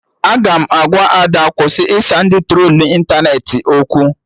Aga m agwa Ada kwụsị ịsa ndị trolu ịntanetị okwu